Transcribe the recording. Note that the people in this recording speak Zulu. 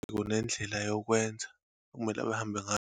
Kunendlela yokwenza ekumele bahambe ngayo.